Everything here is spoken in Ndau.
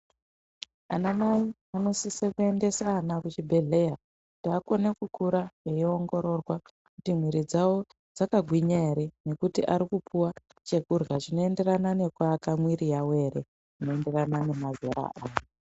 Ana mai anosise kuendesa ana ku chibhedhleya kuti akone kukura eyi ongororwa kuti mwiri dzawo dzaka gwinya ere nekuti ari kupuwa chekurya chino enderana neku aka mwiri yavo ere uno enderana ne mazera aya.